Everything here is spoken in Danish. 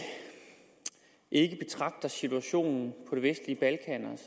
ikke betragter situationen